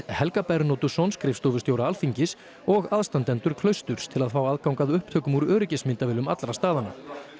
Helga Bernódusson skrifstofustjóra Alþingis og aðstandendur klausturs til að fá aðgang að upptökum úr öryggismyndavélum allra staðanna